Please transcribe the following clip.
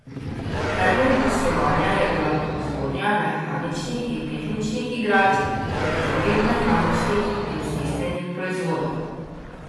Predmet poslovanja je bila proizvodnja mehaničnih in tehničnih igračk ter drugih mehaničnih in stisnjenih proizvodov.